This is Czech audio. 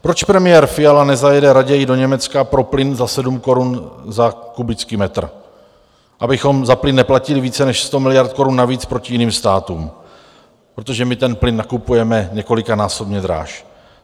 Proč premiér Fiala nezajede raději do Německa pro plyn za 7 korun za kubický metr, abychom za plyn neplatili více než 100 miliard korun navíc oproti jiným státům, protože my ten plyn nakupujeme několikanásobně dráž?